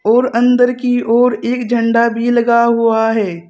और अंदर की ओर एक झंडा भी लगा हुआ है।